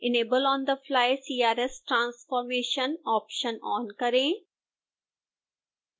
enable on the fly crs transformation option on करें